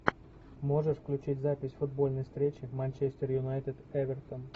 можешь включить запись футбольной встречи манчестер юнайтед эвертон